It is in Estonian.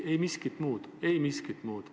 Ei miskit muud, ei miskit muud.